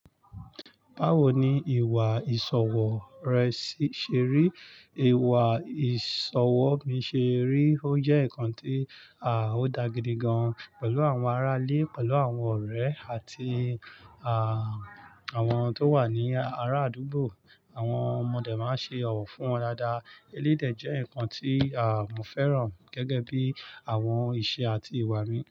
Báwo ni ìwà ìsọ̀wọ̀ rẹ ṣé rí? Ìwà ìsọ̀wọ̀ mi ṣe rí. Ó jẹ́ ǹkan tí, à, ó da gidi gan-an pẹ̀lú àwọn ará ilé, pẹ̀lú àwọn ọ̀rẹ́ àti, àà, àwọn tó wà ní ara àdúgbò. Àwọn ọmọdé máa ń ṣe ọ̀wọ̀ fún wọn dáadáa. Elédè jẹ́ ǹkan tí, à, mo fẹ́ràn gẹ́gẹ́ bí àwọn ìṣe àti ìwà mi.